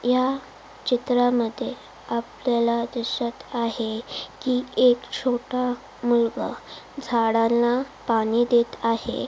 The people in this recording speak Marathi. या चित्रामध्ये आपल्याला दिसत आहे की एक छोटा मुलगा झाडाला पाणी देत आहे.